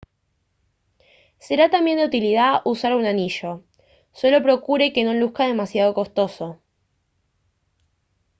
será también de utilidad usar un anillo solo procure que no luzca demasiado costoso